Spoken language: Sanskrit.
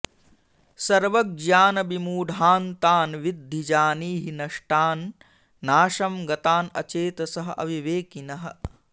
सर्वज्ञानविमूढान् तान् विद्धि जानीहि नष्टान् नाशं गतान् अचेतसः अविवेकिनः